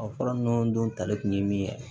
Ɔ fura ninnu dun tali kun ye min ye